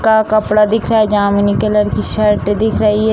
का कपड़ा दिख रहा है जामुनी कलर की शर्ट दिख रही है ।